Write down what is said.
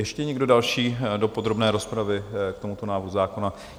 Ještě někdo další do podrobné rozpravy k tomuto návrhu zákona?